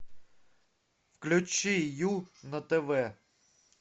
включи ю на тв